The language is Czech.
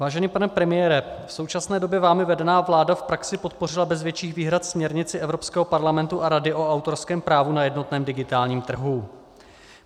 Vážený pane premiére, v současné době vámi vedená vláda v praxi podpořila bez větších výhrad směrnici Evropského parlamentu a Rady o autorském právu na jednotném digitálním trhu.